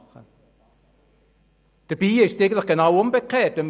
Dabei ist es eigentlich genau umgekehrt.